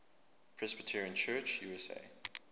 presbyterian church usa